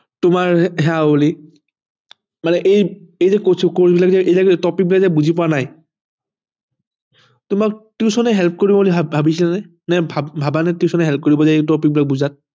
তোমাৰ মানে এই যে topic টো বুজি পোৱা নাই তোমাক tuition এ help কৰিব ভাবিছিলানে নে ভাবানে তুমি